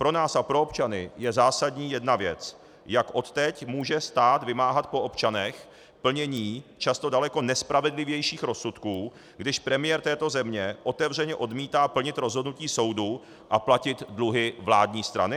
Pro nás a pro občany je zásadní jedna věc: jak odteď může stát vymáhat po občanech plnění často daleko nespravedlivějších rozsudků, když premiér této země otevřeně odmítá plnit rozhodnutí soudu a platit dluhy vládní strany.